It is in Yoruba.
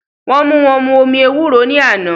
Wọ́n mú wọn mu omi ewúro ní àná